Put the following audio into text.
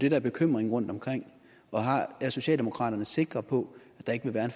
er bekymringen rundtomkring er socialdemokraterne sikre på at der ikke vil være